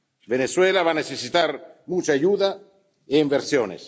Venezuela va a necesitar mucha ayuda e inversiones.